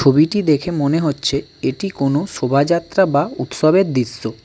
ছবিটি দেখে মনে হচ্ছে এটি কোনও শোভাযাত্রা বা উৎসবের দৃশ্য।